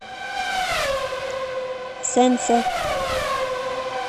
сэнсэ